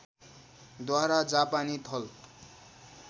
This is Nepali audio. द्वारा जापानी थल